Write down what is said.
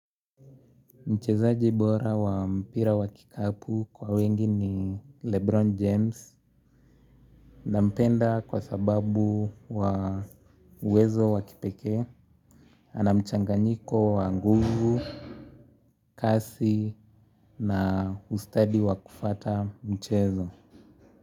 Mchezaji bora wa mpira wa kikapu kwa wengi ni Lebron James. Nampenda kwa sababu wa uwezo wa kipekee. Ana mchanganyiko wa nguvu, kasi na ustadi wa kufuata mchezo.